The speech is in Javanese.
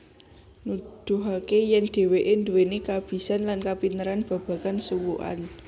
Nuduhake yen dheweke duweni kabisan lan kapinteran babagan suwukan